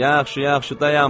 Yaxşı, yaxşı, dayanmayın.